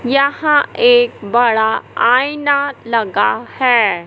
यहां एक बड़ा आईना लगा है।